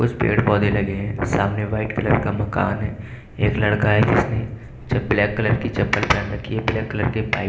कुछ पेड़ पौधे लगे हैं सामने व्हाइट कलर का मकान है एक लड़का है जिसने ब्लैक कलर की चप्पल पहन रखी है ब्लैक कलर के पाइप --